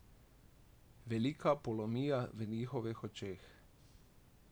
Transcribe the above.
Velika polomija v njihovih očeh.